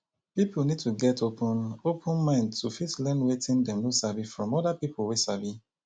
pipo need to get open open mind to fit learn wetin dem no sabi from oda pipo wey sabi